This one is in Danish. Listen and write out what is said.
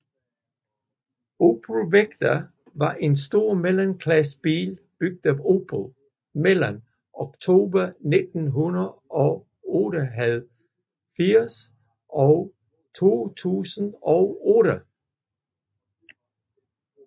Opel Vectra var en stor mellemklassebil bygget af Opel mellem oktober 1988 og juli 2008